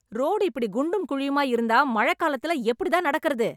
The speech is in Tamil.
ரோடு இப்படி குண்டும் குழியுமா இருந்தா மழை காலத்துல எப்படி தான் நடக்கிறது